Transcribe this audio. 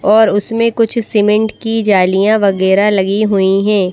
और उसमें कुछ सीमेंट की जालियां वागेरा लगी हुई हैं।